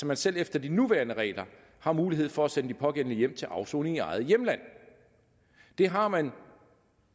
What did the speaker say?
man selv efter de nuværende regler har mulighed for at sende de pågældende hjem til afsoning i eget hjemland det har man